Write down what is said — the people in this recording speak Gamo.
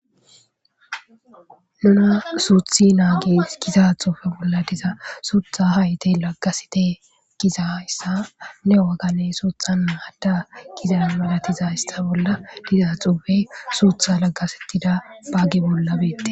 Nuna suuthi naagi giza xuufe bolla diza suutha hayte laggasete gizayssa ne wagane suuthan naadda giza malatiza ista bolla diza xuufe suutha laggasettida baaggi bolla beette.